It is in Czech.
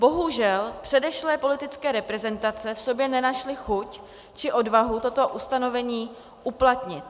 Bohužel předešlé politické reprezentace v sobě nenašly chuť či odvahu toto ustanovení uplatnit.